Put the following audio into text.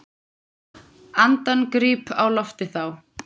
Andann gríp á lofti þá.